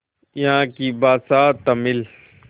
यहाँ की भाषा तमिल